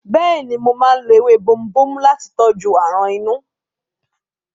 Bẹ́ẹ̀ni, mo máa ń lo ewé bomubómú láti tọ́jú aràn inú.